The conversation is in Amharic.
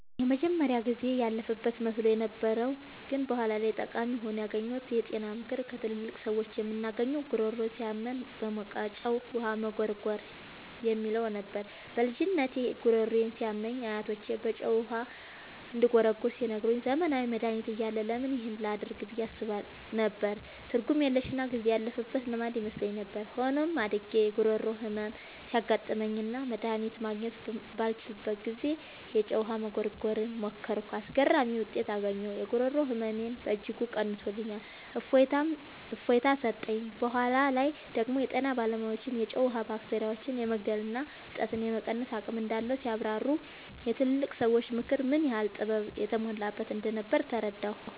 የመጀመሪያው ጊዜ ያለፈበት መስሎኝ የነበረው ግን በኋላ ላይ ጠቃሚ ሆኖ ያገኘሁት የጤና ምክር ከትላልቅ ሰዎች የምናገኘው "ጉሮሮ ሲያመን በሞቀ ጨው ውሃ መጉርጎር" የሚለው ነበር። በልጅነቴ ጉሮሮዬ ሲያመኝ አያቶቼ በጨው ውሃ እንድጉርጎር ሲነግሩኝ፣ ዘመናዊ መድሃኒት እያለ ለምን ይህን ላደርግ ብዬ አስብ ነበር። ትርጉም የለሽና ጊዜ ያለፈበት ልማድ ይመስለኝ ነበር። ሆኖም፣ አድጌ የጉሮሮ ህመም ሲያጋጥመኝና መድሃኒት ማግኘት ባልችልበት ጊዜ፣ የጨው ውሃ መጉርጎርን ሞከርኩ። አስገራሚ ውጤት አገኘሁ! የጉሮሮ ህመሜን በእጅጉ ቀንሶልኝ እፎይታ ሰጠኝ። በኋላ ላይ ደግሞ የጤና ባለሙያዎች የጨው ውሃ ባክቴሪያዎችን የመግደልና እብጠትን የመቀነስ አቅም እንዳለው ሲያብራሩ፣ የትላልቅ ሰዎች ምክር ምን ያህል ጥበብ የተሞላበት እንደነበር ተረዳሁ።